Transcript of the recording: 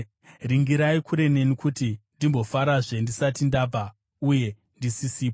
Ringirai kure neni, kuti ndimbofarazve ndisati ndabva uye ndisisipo.”